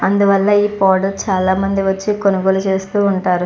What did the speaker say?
అందువల్ల చాల మంది వచ్చి కొనుగోలు చేస్తున్నారు.